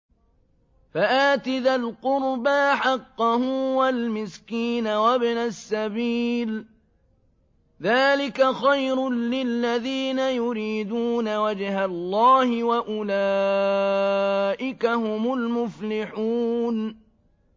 فَآتِ ذَا الْقُرْبَىٰ حَقَّهُ وَالْمِسْكِينَ وَابْنَ السَّبِيلِ ۚ ذَٰلِكَ خَيْرٌ لِّلَّذِينَ يُرِيدُونَ وَجْهَ اللَّهِ ۖ وَأُولَٰئِكَ هُمُ الْمُفْلِحُونَ